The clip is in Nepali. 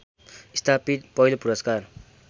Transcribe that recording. स्थापित पहिलो पुरस्कार